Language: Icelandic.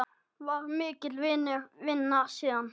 Var mikill vinur vina sína.